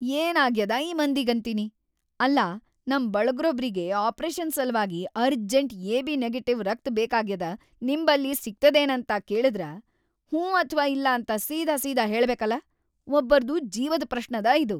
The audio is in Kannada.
ಏನ್‌ ಆಗ್ಯಾದ ಈ ಮಂದಿಗಂತೀನಿ, ಅಲ್ಲಾ ನಂ ಬಳಗ್ರೊಬ್ರಿಗಿ ಆಪರೇಷನ್‌ ಸಲ್ವಾಗಿ ಅರ್ಜೆಂಟ್‌ ಎ.ಬಿ.‌ ನೆಗೆಟಿವ್‌ ರಕ್ತ್ ಬೇಕಾಗ್ಯಾದ ನಿಮ್‌ ಬಲ್ಲಿ ಸಿಗ್ತದೇನಂತ ಕೇಳಿದ್ರ ಹ್ಞೂ ಅಥ್ವಾ ಇಲ್ಲಾಂತ ಸೀದಾಸೀದಾ ಹೇಳಬೇಕಲಾ. ಒಬ್ಬರ್ದು ಜೀವದ್‌ ಪ್ರಶ್ನದ ಇದು!